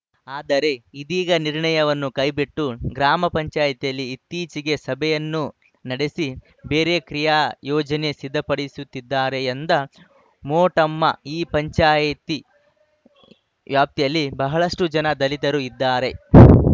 ಆದರೆ ಇದೀಗ ನಿರ್ಣಯವನ್ನು ಕೈಬಿಟ್ಟು ಗ್ರಾಮ ಪಂಚಾಯ್ತಿಯಲ್ಲಿ ಇತ್ತೀಚೆಗೆ ಸಭೆಯನ್ನು ನಡೆಸಿ ಬೇರೆ ಕ್ರಿಯಾ ಯೋಜನೆ ಸಿದ್ಧಪಡಿಸುತ್ತಿದ್ದಾರೆ ಎಂದ ಮೋಟಮ್ಮ ಈ ಪಂಚಾಯ್ತಿ ವ್ಯಾಪ್ತಿಯಲ್ಲಿ ಬಹಳಷ್ಟುಜನ ದಲಿತರು ಇದ್ದಾರೆ